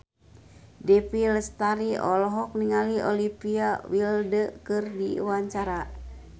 Dewi Lestari olohok ningali Olivia Wilde keur diwawancara